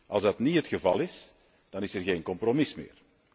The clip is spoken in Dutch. Als dat niet het geval is, dan is er geen compromis meer.